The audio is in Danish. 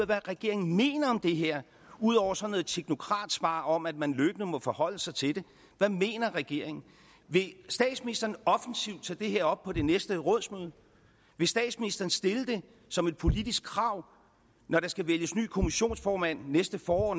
hvad regeringen mener om det her ud over sådan et teknokratsvar om at man løbende må forholde sig til det hvad mener regeringen vil statsministeren offensivt tage det her op på det næste rådsmøde vil statsministeren stille det som et politisk krav når der skal vælges ny kommissionsformand næste forår